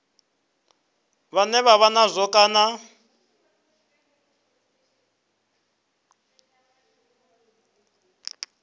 vhane vha vha nazwo kana